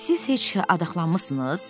siz heç adaxlanmısınız?